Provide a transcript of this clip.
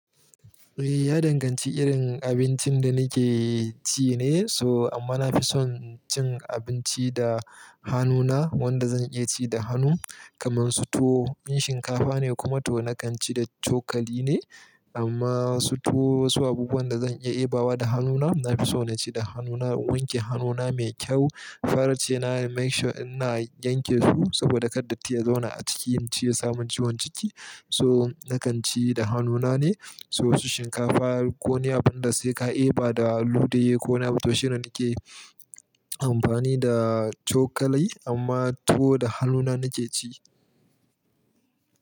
Ya danganci irin abincin da nake ci ne. Toh amma na fi son cin abinci da hannuna, wanda zan iya ci da hannu. Kamar su tuwo, in shinkafa ne kuma to na kan ci da cokali ne. Amma su tuwo wasu abubuwan da zan iya debawa da hannuna, na fi so na ci da hannuna, wanke hannuna mai kyau. Farce na make sure ina yanke su saboda kar datti ya zauna a ciki in ci ya samu ciwon ciki. So na kan ci da hannuna ne. So wasu shinkafa ko wani abin da sai ka deba da ludayi ko wani abu toshi ne nake amfani da cokali amma tuwo da hannuna nake ci.